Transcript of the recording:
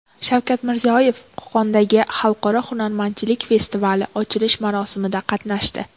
Shavkat Mirziyoyev Qo‘qondagi Xalqaro hunarmandchilik festivali ochilish marosimida qatnashdi.